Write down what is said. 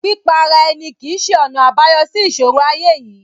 Pípa ara ẹni kìí ṣe ọ̀nà àbáyọ sí ìṣòro ayé yìí.